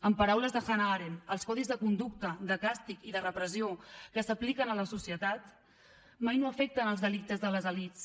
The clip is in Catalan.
en paraules de hannah arendt els codis de conducta de càstig i de repressió que s’apliquen a la societat mai no afecten els delictes de les elits